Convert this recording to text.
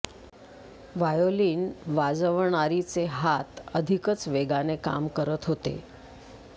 violin वाजवणारीचे हात अधिकच वेगाने काम करत होते